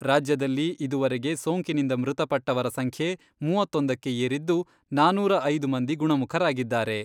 ರಾಜ್ಯದಲ್ಲಿ ಇದುವರೆಗೆ ಸೋಂಕಿನಿಂದ ಮೃತಪಟ್ಟವರ ಸಂಖ್ಯೆ ಮೂವತ್ತೊಂದಕ್ಕೆ ಏರಿದ್ದು, ನಾನೂರ ಐದು ಮಂದಿ ಗುಣಮುಖರಾಗಿದ್ದಾರೆ.